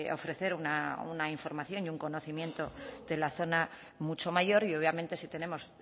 ofrecer una información y un conocimiento de la zona mucho mayor y obviamente si tenemos